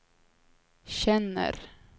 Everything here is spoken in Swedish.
känner